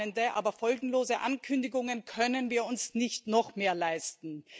Wohlmeinende, aber folgenlose Ankündigungen können wir uns nicht noch mehr leisten.